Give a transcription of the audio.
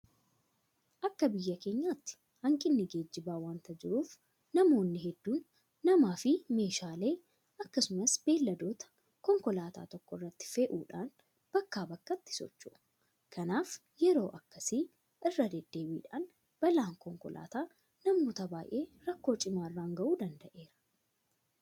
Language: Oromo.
Akka biyya keenyaatti hanqinni geejibaa wanta jiruuf namoonni hedduun namaafi meeshaalee akkasumas beelladoota konkolaataa tokko irratti fe'uudhaan bakkaa bakkatti socho'u. Kanaaf yeroo akkasii irra deddeebiidhaan balaan konkolaataa namoota baay'ee rakkoo cimaa irraan gahuu danda'eera.